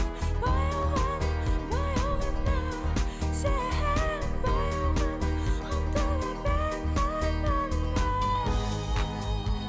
баяу ғана баяу ғана сен баяу ғана ұмтыла бер арманыңа